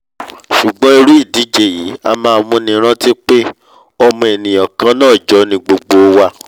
sùgbọ́n irú ìdíje yìí a máa múni rántí pé ọmọ ènìà kannáà jọ ni gbogbo wa!